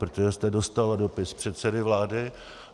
Protože jste dostala dopis předsedy vlády.